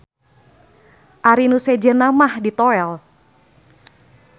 Ari nu sejenna mah ditoèl.